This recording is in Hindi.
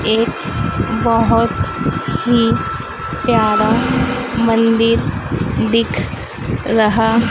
एक बहोत ही प्यारा मंदिर दिख रहा--